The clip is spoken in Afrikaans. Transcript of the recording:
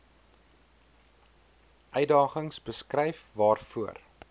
uitdagings beskryf waarvoor